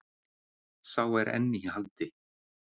Sá er enn í haldi.